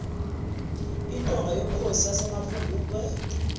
intonga yobukhosi basemapungubwe